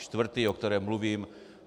Čtvrtý, o kterém mluvím.